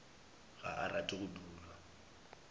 ga a rate go dulwa